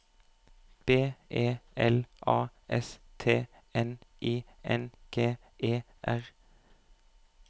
B E L A S T N I N G E R